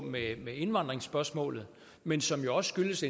indvandrerspørgsmålet men som også skyldes